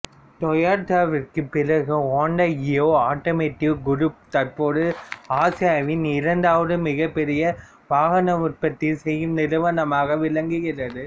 டொயோட்டோவிற்குப் பிறகு Hyundai Kia automotive group தற்போது ஆசியாவின் இரண்டாவது மிகப்பெரிய வாகன உற்பத்தி செய்யும் நிறுவனமாக விளங்குகிறது